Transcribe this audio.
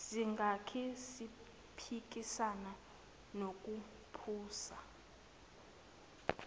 singake siphikisane nokuphusa